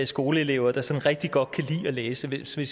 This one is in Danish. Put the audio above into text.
skoleelever der sådan rigtig godt kan lide at læse hvis vi